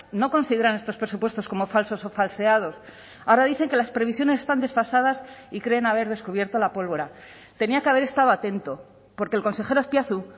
no consideran estos presupuestos como falsos o falseados ahora dicen que las previsiones están desfasadas y creen haber descubierto la pólvora tenía que haber estado atento porque el consejero azpiazu